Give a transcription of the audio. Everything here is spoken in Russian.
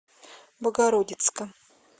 богородицка